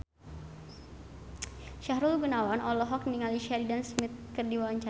Sahrul Gunawan olohok ningali Sheridan Smith keur diwawancara